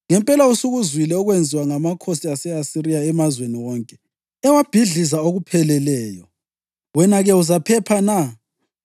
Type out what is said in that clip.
Ngempela usukuzwile okwenziwa ngamakhosi ase-Asiriya emazweni wonke, ewabhidliza okupheleleyo. Wena-ke uzaphepha na?